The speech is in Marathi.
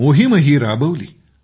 मोहीम देखील राबवली